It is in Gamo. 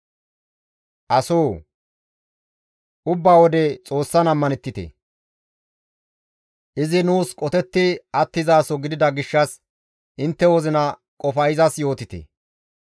Asoo! Ubbaa wode Xoossan ammanettite; izi nuus qotetti attizaso gidida gishshas intte wozina qofa izas yootite.